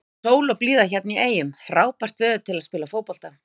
Sól og blíða hérna í eyjum, frábært veður til að spila fótbolta.